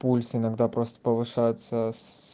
пульс иногда просто повышается с